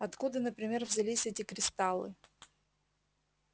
откуда например взялись эти кристаллы